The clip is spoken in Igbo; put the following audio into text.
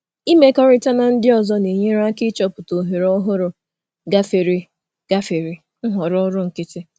Ịmekọrịta um na ndị ọzọ um na-enyere um aka ịchọpụta ohere ọhụrụ gafere nhọrọ ọrụ nkịtị.